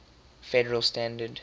federal standard